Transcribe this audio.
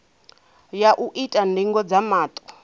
ya u ita ndingo dza maṱo